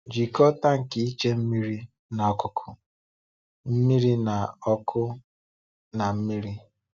Jikọọ tánkì ịche mmiri na ọkụ̀kụ̀ mmiri na ọkụ́ na mmiri.